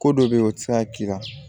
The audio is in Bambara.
Ko dɔ be yen o ti se ka k'i la